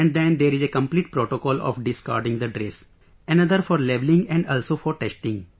And then there is a complete protocol of discarding the dress, another for labelling and also for testing